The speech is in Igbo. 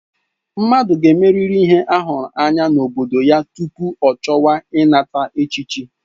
Mmadụ ga-emerịrị ihe a hụrụ anya n'obodo ya tupu ọ chọwa ịnata echichi.